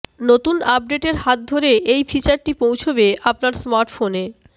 নতুন আপডেটের হাত ধরে এই ফিচারটি পৌঁছবে আপনার স্মার্টফোনে